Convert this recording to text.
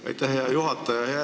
Aitäh, hea juhataja!